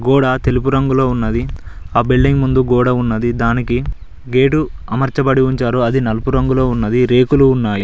గోడ తెలుపు రంగులో ఉన్నది ఆ బిల్డింగ్ ముందు గోడ ఉన్నది దానికి గేటు అమర్చబడి ఉంచారు అది నలుపు రంగులో ఉన్నది రేకులు ఉన్నాయి.